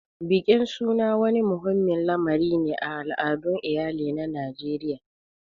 Bikin suna wani muhimmin lamari ne a al'adun iyali na Najeriya.